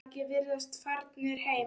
Margir virðast farnir heim.